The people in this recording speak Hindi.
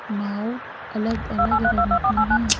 नाव अलग अलग रंग की है।